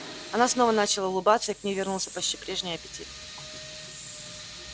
она снова начала улыбаться и к ней вернулся почти прежний аппетит